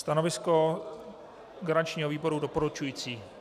Stanovisko garančního výboru - doporučující.